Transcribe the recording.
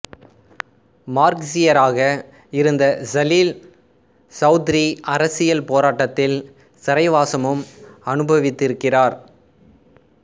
மார்க்ஸியராக இருந்த சலீல் சௌதுரி அரசியல் போராட்டத்தில் சிறைவாசமும் அனுபவித்திருக்கிறார்